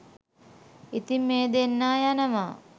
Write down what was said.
ඉතින් මේ දෙන්න යනවා